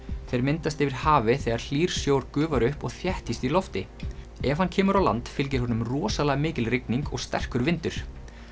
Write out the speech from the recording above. þeir myndast yfir hafi þegar hlýr sjór gufar upp og þéttist í lofti ef hann kemur á land fylgir honum rosalega mikil rigning og sterkur vindur